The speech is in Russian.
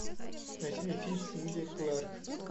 найди мне фильм с эмилией кларк